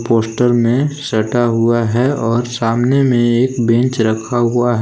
Poster में सटा हुआ है और सामने में एक बेंच रखा हुआ है।